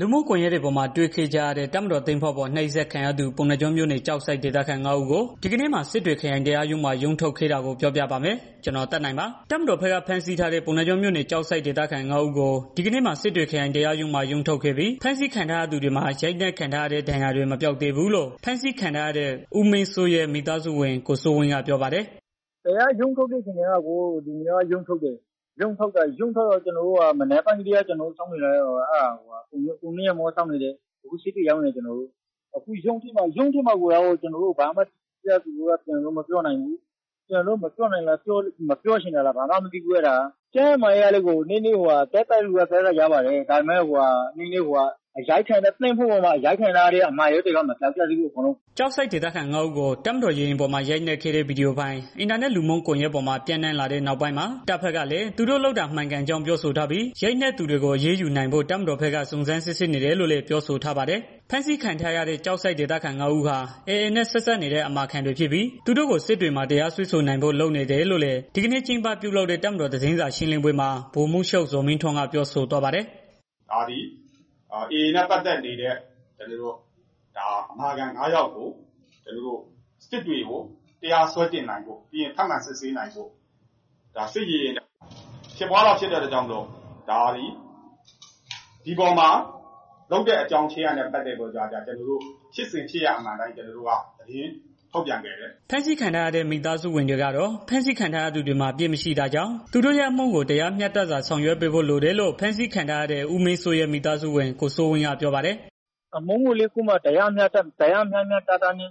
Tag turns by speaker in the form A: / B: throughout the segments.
A: လူမှုကွန်ယက်တွေပေါ်မှာ တွေ့ခဲ့ကြရတဲ့ တပ်မတော်သင်္ဘောပေါ် နှိပ်စက်ခံရသူ ပုဏ္ဏားကျွန်းမြို့နယ် ကျောက်ဆိပ်ဒေသခံ ငါး ဦး ကို ဒီကနေ့မှာ စစ်တွေခရိုင်တရားရုံးမှာ ရုံးထုတ်ခဲ့တာကို ဗွီအိုအေ မြန်မာပိုင်းသတင်းထောက် ကိုသက်နိုင်က ပြောပြပါမယ်။ တပ်မတော်ဘက်က ဖမ်းဆီးထားတဲ့ ပုဏ္ဏားကျွန်းမြို့နယ် ကျောက်ဆိပ်ဒေသခံ ငါး ဦး ကို ဒီကနေ့မှာ စစ်တွေခရိုင် တရားရုံးမှာ ရုံးထုတ်ခဲ့ပြီး ဖမ်းဆီးခံထားရသူတွေမှာ ရိုက်နှိက်ထားရတဲ့ ဒဏ်ရာတွေ မပျောက်သေးဘူးလို့ ဖမ်းဆီးခံထားရတဲ့ ဦးမင်းစိုးရဲ့မိသားစုဝင် ကိုစိုးဝင်းက ပြောပါတယ်
B: ။ "ရုံးထုတ်တာ ဟုတ်တယ်။ ကျနော်တို့အခု စစ်တွေရောက်နေတယ်။ ရုံးထုတ်တာနဲ့ ပတ်သတ်ပြီးလည်း သူတို့က တိတိကျကျ ဘာမှကျနော်တို့ကို ပြောတာမရှိဘူး။ သူတို့မပြောနိုင်တာလား မပြောချင်တာလားတော့ ကျနော်တို့လည်း မသိဘူး။ ကျန်းမာရေးအခြေအနေကတော့ သက်သာတဲ့သူက သက်သာတယ်။ သင်္ဘောပေါ်မှာ ရိုက်နှိက်ခံထားရတဲ့ ဒဏ်ရာတွေကတော့ အမာရွက်တွေ ကျန်နေတယ်။
A: " ကျောက်ဆိပ်ဒေသခံ ငါး ဦးကို တပ်မတော်ရေယာဉ်ပေါ်မှာ ရိုက်နက်နေတဲ့ ဗွီဒီယိုဖိုင် အင်တာနက်လူမှုကွန်ယက် ပေါ်မှာ ပျံ့နှံ့လာတဲ့ နောက်ပိုင်းမှာ တပ်ဘက်ကလည်း သူတို့လုပ်တာ မှန်ကန်ကြောင်းပြောဆိုထားပြီး ရိုက်နှက်သူတွေကို အရေးယူနိုင်ဖို့ တပ်မတော်ဘက်က စုံစမ်းစစ်ဆေးနေတယ်လို့လည်း ပြောဆိုထားပါတယ်။ ဖမ်းဆီးခံထားရတဲ့ ကျောက်ဆိပ်ဒေသခံ ငါး ဦးဟာ AA နဲ့ ဆက်စပ်နေတဲ့ အမာခံတွေ ဖြစ်ပြီး သူတို့ကို စစ်တွေမှာ တရားစွဲဆိုနိုင်ဖို့ လုပ်နေတယ်လို့လည်း ဒီကနေ့ ကျင်းပပြုလုပ်တဲ့ တပ်မတော်သတင်းစာရှင်းလင်းပွဲမှာ ဗိုလ်မှူးချုပ် ဇော်မင်းထွန်းက ပြောဆိုသွားပါတယ်
C: ။ "ဒါသည် AA နဲ့ဆက်စပ်နေတဲ့ အမာခံ ငါးယောက်ကို စစ်တွေမှာ တရားစွဲဆိုနိုင်ဖို့ ပြီးရင် ထပ်မံစစ်ဆေးနိုင်ဖို့ ဒါသည် စစ်ရေယာဉ်ပေါ်မှာ ဖြစ်တဲ့ အကြောင်းအရာဖြစ်တာကြောင့် ဖြစ်စဉ်ဖြစ်ရပ်အမှန်အတိုင်း ကျနော်တို့ သတင်းထုတ်ပြန်ခဲ့တယ်။
A: " ဖမ်းဆီးခံထားရတဲ့ မိသားစုဝင်တွေကတော့ ဖမ်းဆီးခံထားရသူတွေမှာ အပြစ်မရှိတာကြောင့် သူတို့ရဲ့ အမှုကို တရားမျှတစွာ ဆောင်ရွက်ပေးဖို့လိုတယ်လို့ ဖမ်းဆီးခံထားရတဲ့ ဦးမင်းစိုးရဲ့မိသားစုဝင် ကိုစိုးဝင်းက ပြောပါတယ်။
B: "အမှုကိုလည်း တရားမျှမျှတတနဲ့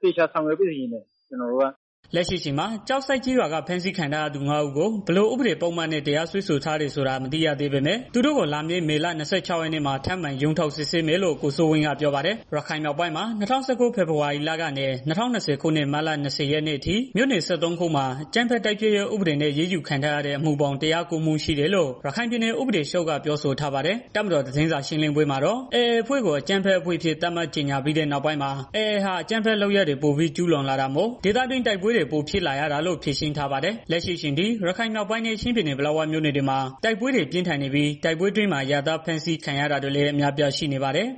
B: သေချာဆောင်ရွက်ပေးစေချင်ပါတယ
A: ်။" လက်ရှိအချိန်မှာ ကျောက်ဆိပ်ကျေးရွာက ဖမ်းဆီးခံထားရသူ ငါး ဦးကို ဘယ်လိုဥပဒေပုဒ်မနဲ့ တရားစွဲထားတယ်ဆိုတာ အသေးစိတ်မသိရသေးပေမဲ့ သူတို့ကို လာမယ့် မေလ ၂၆ ရက်နေ့မှာ ထပ်မံ ရုံးထုတ်စစ်ဆေးမယ်လို့ ကိုစိုးဝင်းက ပြောပါတယ်။ ရခိုင်မြောက်ပိုင်းမှာ ၂၀၁၉ ဖေဖော်ဝါရီ ကနေ ၂၀၂၀ ခုနှစ် မတ်လ ၂၀ ရက်နေ့အထိ မြို့နယ် ၁၃ ခုမှာ အကြမ်းဖက် တိုက်ဖျက်ရေးဥပဒေနဲ့ အရေးယူခံထားရတဲ့ အမှုပေါင်း ၁၀၉ မှု ရှိတယ်လို့ ရခိုင်ပြည်နယ် ဥပဒေချုပ်က ပြောဆိုထားပါတယ်။ တပ်မတော်သတင်းစာ ရှင်းလင်းပွဲမှာတော့ AA အဖွဲ့ကို အကြမ်းဖက်အဖွဲ့အဖြစ် သတ်မှတ်ကြေညာပြီးတဲ့ နောက်ပိုင်းမှာ AA ဟာ အကြမ်းဖက်လုပ်ရပ်တွေ ပိုပြီးကျူးလွန်လာတာမို့ ဒေသတွင်း တိုက်ပွဲတွေ ပိုဖြစ်လာတာလို့ ဖြေရှင်းထားပါတယ်။ လက်ရှိအချိန်ထိ ရခိုင်မြောက်ပိုင်းနဲ့ ချင်းပြည်နယ် ပလက်ဝမြို့နယ်တွေမှာတိုက်ပွဲတွေ ပြင်းထန်နေပြီး တိုက်ပွဲအတွင်းမှာ အရပ်သား ဖမ်းဆီးခံရတာတွေလည်း အများအပြားရှိနေပါတယ်